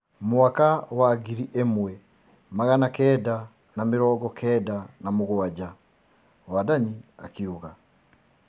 mwaka wa ngiri ĩmwe magana kenda na mĩrongo kenda na mũgwanja. Wandanyi akiuga